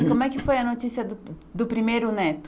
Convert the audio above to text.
E como é que foi a notícia do do primeiro neto?